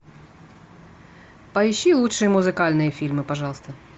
поищи лучшие музыкальные фильмы пожалуйста